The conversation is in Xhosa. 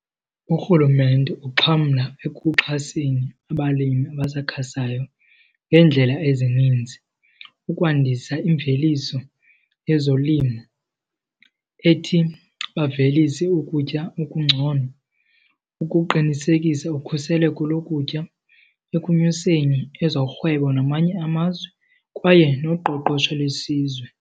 Urhulumente uxhamla ekuxhaseni abalimi abasakhasayo ngeendlela ezininzi. Ukwandisa imveliso yezolimo ethi bavelise ukutya okungcono ukuqinisekisa ukhuseleko lokutya, ekunyuseni ezorhwebo namanye amazwe kwaye noqoqosho lwesizwe.